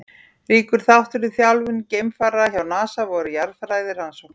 Ríkur þáttur í þjálfun geimfara hjá NASA voru jarðfræðirannsóknir.